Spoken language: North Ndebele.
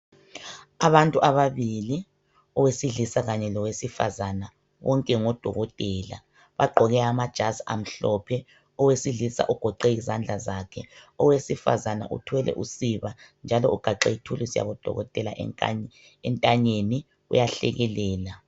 Abantu ababili, owesilisa kanye lowesifazana, bonke ngodokotela. Bagqoke amajazi amhlophe. Owesilisa ugoqe izandla, owesifazana uthwele usiba njalo ugaxe ithuluzi yabodokotela enta entanyeni uyahlekelela.